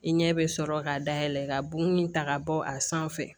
I ɲɛ bɛ sɔrɔ ka dayɛlɛ ka bo in ta ka bɔ a sanfɛ